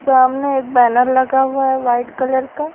सामने एक बैनर लगा हुआ है वाइट कलर का।